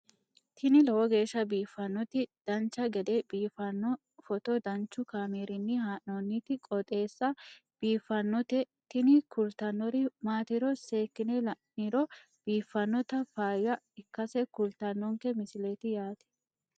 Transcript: tini lowo geeshsha biiffannoti dancha gede biiffanno footo danchu kaameerinni haa'noonniti qooxeessa biiffannoti tini kultannori maatiro seekkine la'niro biiffannota faayya ikkase kultannoke misileeti yaate